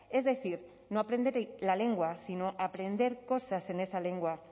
es decir no aprender la lengua sino aprender cosas en esa lengua